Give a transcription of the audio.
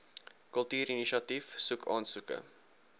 kultuurinisiatief soek aansoeke